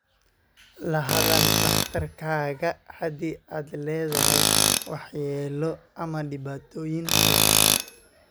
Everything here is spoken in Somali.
La hadal dhakhtarkaaga haddii aad leedahay waxyeelo ama dhibaatooyin kale.